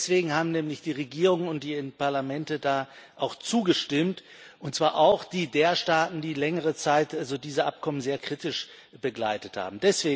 Deswegen haben nämlich die Regierungen und die Parlamente auch zugestimmt, und zwar auch die der Staaten, die längere Zeit diese Abkommen sehr kritisch begleitet haben.